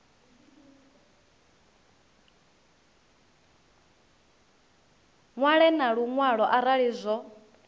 ṅwale na luṅwalo arali zwo